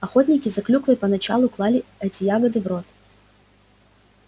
охотники за клюквой поначалу клали эти ягоды в рот